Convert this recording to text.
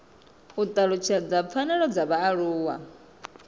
u talutshedza pfanelo dza vhaaluwa